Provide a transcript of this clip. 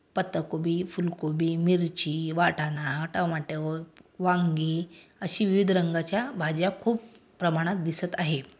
पत्ताकोबी फुलकोबी मिरची वाटाणा टोमॅटो वांगी अशी विविध रंगाच्या भाज्या खूप प्रमाणात दिसत आहे.